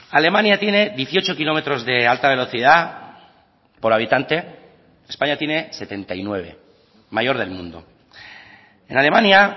alemania tiene dieciocho kilómetros de alta velocidad por habitante españa tiene setenta y nueve mayor del mundo en alemania